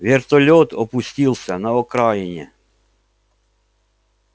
вертолёт опустился на окраине